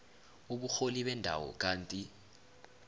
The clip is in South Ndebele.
uburholi bendawo kanti